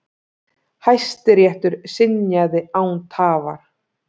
Hæstiréttur synjaði án tafar.